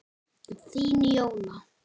Þín, Jóna.